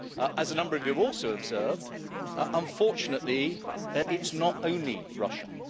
As a number of you have also observed, unfortunately it is not only Russia.